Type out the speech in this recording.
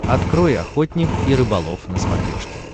открой охотник и рыболов на смотрешке